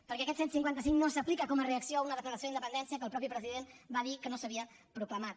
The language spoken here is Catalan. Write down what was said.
perquè aquest cent i cinquanta cinc no s’aplica com a reacció a una declaració d’independència que el mateix president va dir que no s’havia proclamat